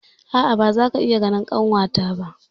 A'a, ba za ku iya ganin kanwata ba.